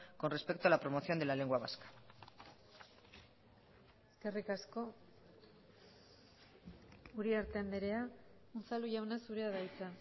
con respecto a la promoción de la lengua vasca eskerrik asko uriarte andrea unzalu jauna zurea da hitza